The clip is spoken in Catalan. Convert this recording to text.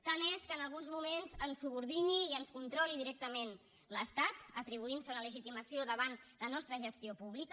tant és que en alguns moments ens subordini i ens controli directament l’estat atribuint se una legitimació davant la nostra gestió pública